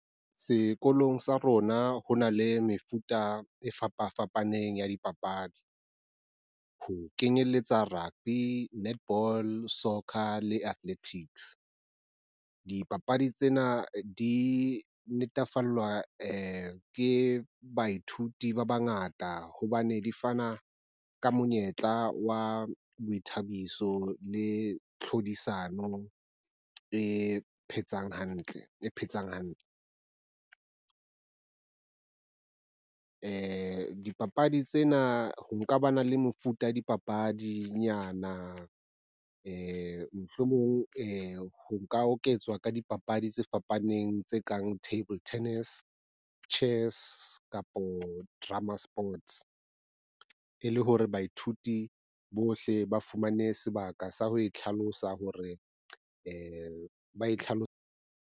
Sekolong sa rona ho na le mefuta e fapafapaneng ya dipapadi, ho kenyelletsa rugby, netball, soccer le athletics. Dipapadi tsena di natefellwa ke baithuti ba bangata hobane di fana ka monyetla wa boithabiso le tlhodisano e phetseng hantle. Dipapadi tsena ho nka ba na le mefuta ya dipapadinyana mohlomong . Ho ka oketswa ka dipapadi tse fapaneng tse kang Table Tennis, chess kapo drummer sports e le hore baithuti bohle ba fumane sebaka sa ho itlhalosa hore ba tlhaloso.